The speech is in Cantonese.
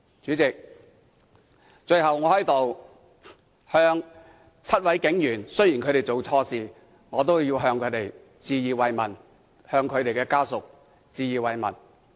主席，最後，雖然7位警員做錯事，但我在此向他們及其家屬致以慰問。